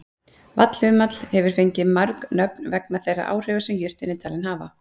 Vallhumall hefur fengið mörg nöfn vegna þeirra áhrifa sem jurtin er talin hafa.